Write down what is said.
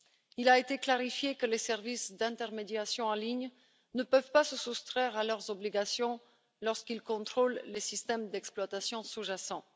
Il a été clarifié que les services d'intermédiation en ligne ne peuvent pas se soustraire à leurs obligations lorsqu'ils contrôlent les systèmes d'exploitation sous jacents.